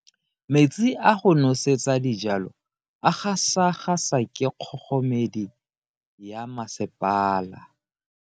Metsi a go nosetsa dijalo a gasa gasa ke kgogomedi ya masepala.